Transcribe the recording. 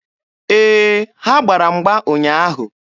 Ee, ha gbara mgba ụnyaahụ.